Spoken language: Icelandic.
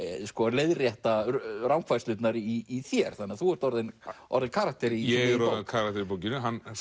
leiðrétta rangfærslurnar í þér þannig að þú ert orðinn orðinn karakter í ég er orðinn karakter í bókinni og hann